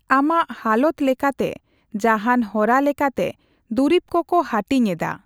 ᱟᱢᱟᱜ ᱦᱟᱞᱚᱛ ᱞᱮᱠᱟᱛᱮ ᱡᱟᱦᱟᱱ ᱦᱚᱨᱟ ᱞᱮᱠᱟᱛᱮ ᱫᱩᱨᱤᱵ ᱠᱚᱠᱚ ᱦᱟᱹᱴᱤᱧ ᱮᱫᱟ᱾